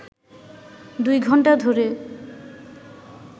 দুই ঘণ্টা ধরে